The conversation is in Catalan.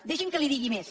deixi’m que li digui més